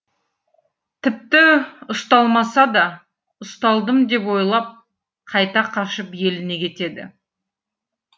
тіпті ұсталмаса да ұсталдым деп ойлап қайта қашып еліне кетеді